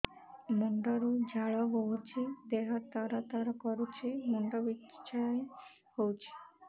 ମୁଣ୍ଡ ରୁ ଝାଳ ବହୁଛି ଦେହ ତର ତର କରୁଛି ମୁଣ୍ଡ ବିଞ୍ଛାଇ ହଉଛି